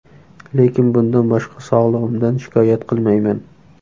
Lekin bundan boshqa sog‘lig‘imdan shikoyat qilmayman.